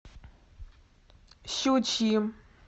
щучьим